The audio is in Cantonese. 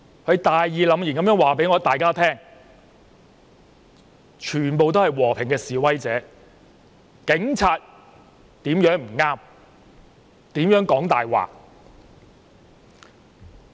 他大義凜然地告訴大家，現場全部是和平的示威者、警方如何不對、如何說謊。